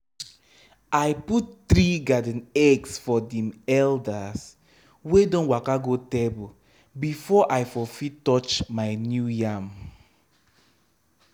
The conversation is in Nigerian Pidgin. i put three garden eggs for dem elders wey don waka go table before i for fit touch my new yam.